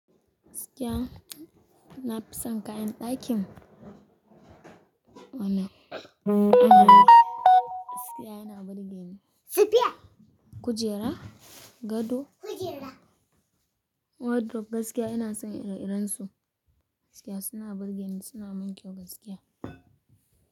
Gaskiya, nafi son kayan ɗakin. Wannan gaskiya yana burge ni. Kujera, gado, wardrobe gaskiya ina son ire-irensu, gaskiya suna burge ni, suna min kyau gaskiya.